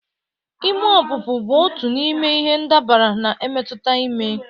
Ime ọpụpụ bụ otu n'ime ihe ndabara na-emetụta ime